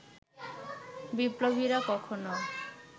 বিপ্লবীরা কখনো